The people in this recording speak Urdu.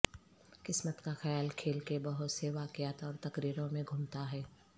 قسمت کا خیال کھیل کے بہت سے واقعات اور تقریروں میں گھومتا ہے